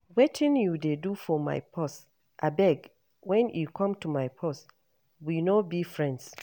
Wetin you dey do for my purse. Abeg, wen e come to my purse we no be friends.